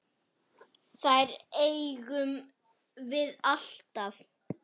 Þær eigum við alltaf.